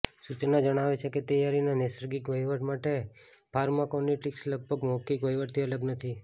સૂચના જણાવે છે કે તૈયારીના નૈસર્ગિક વહીવટ માટે ફાર્માકોકિનેટિક્સ લગભગ મૌખિક વહીવટથી અલગ નથી